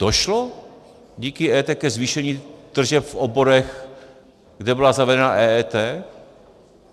Došlo díky EET ke zvýšení tržeb v oborech, kde byla zavedena EET?